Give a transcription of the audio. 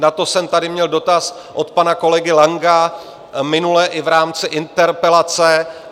Na to jsem tady měl dotaz od pana kolegy Langa minule i v rámci interpelace.